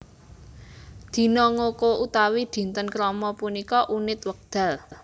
Dina ngoko utawi dinten krama punika unit wekdal